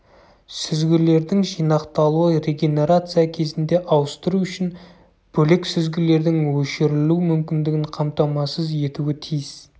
сүзгілердің жинақталуы регенерация кезінде ауыстыру үшін бөлек сүзгілердің өшірілу мүмкіндігін қамтамасыз етуі тиіс